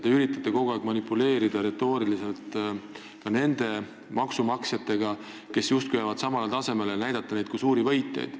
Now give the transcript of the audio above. Te üritate kogu aeg retooriliselt justkui manipuleerida ka nende maksumaksjatega, kelle palk jääb samale tasemele, ja näidata neid kui suuri võitjaid.